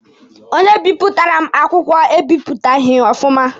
Onye bipụtara m akwụkwọ ebipụtaghị ya ọfụma.